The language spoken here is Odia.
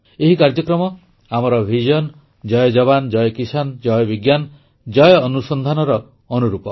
ଏହି କାର୍ଯ୍ୟକ୍ରମ ଆମର ଭିଜନ୍ ଜୟ ଯବାନ୍ ଜୟ କିଷାନ୍ ଜୟ ବିଜ୍ଞାନ ଜୟ ଅନୁସନ୍ଧାନର ଅନୁରୂପ